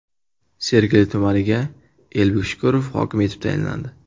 Sergeli tumaniga Elbek Shukurov hokim etib tayinlandi.